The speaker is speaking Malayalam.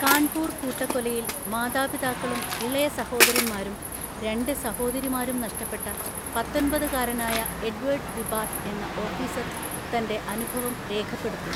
കാൺപൂർ കൂട്ടക്കൊലയിൽ മാതാപിതാക്കളും ഇളയ സഹോദരന്മാരും രണ്ട് സഹോദരിമാരും നഷ്ടപ്പെട്ട പത്തൊന്‍പതുകാരനായ എഡ്വേർഡ് വിബാർട്ട് എന്ന ഓഫീസര്‍ തന്‍റെ അനുഭവം രേഖപ്പെടുത്തി.